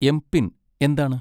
MPIN എന്താണ്?